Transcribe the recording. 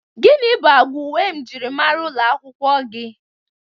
Gini bụ agwa uwe mjịrịmara ụlọ akwụkwọ gị?